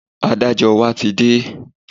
Adájọ́ wa ti dé